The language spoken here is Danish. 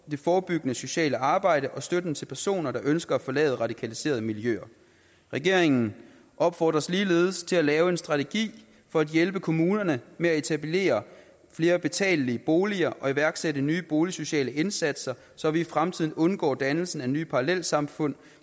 forebyggende sociale arbejde og støtten til personer der ønsker at forlade radikaliserede miljøer regeringen opfordres ligeledes til at lave en strategi for at hjælpe kommunerne med at etablere flere betalelige boliger og iværksætte nye boligsociale indsatser så vi i fremtiden undgår dannelsen af nye parallelsamfund